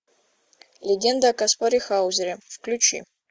легенда о каспаре хаузере включи